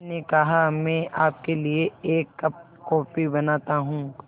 मैंने कहा मैं आपके लिए एक कप कॉफ़ी बनाता हूँ